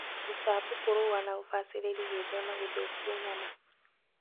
Ruta mbũkũ rũa na ũbacĩrĩri gwĩthema gũthũkia nyama